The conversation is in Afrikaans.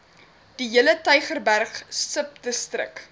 diehele tygerberg subdistrik